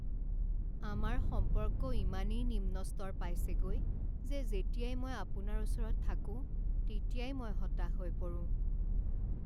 আমাৰ সম্পৰ্ক ইমানেই নিম্ন স্তৰ পাইছেগৈ যে যেতিয়াই মই আপোনাৰ ওচৰত থাকোঁ তেতিয়াই মই হতাশ হৈ পৰোঁ।